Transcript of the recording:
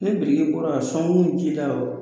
Ne biriki bɔra a sɔnkun ji la